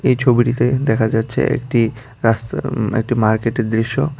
এই ছবিটিতে দেখা যাচ্ছে একটি রাস্তা উম একটি মার্কেটের দৃশ্য।